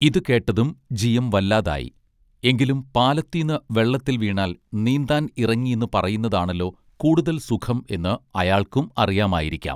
ഇതു കേട്ടതും G M വല്ലതായീ എങ്കിലും പാലത്തീന്നു വെള്ളത്തിൽ വീണാൽ നീന്താൻ ഇറങ്ങീന്നു പറയുന്നതാണല്ലോ കൂടുതൽ സുഖം എന്നു അയാൾക്കും അറിയാമായിരിക്കാം